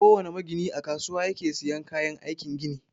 Kowana magini a kasuwa yake siyan kayan aikin gini.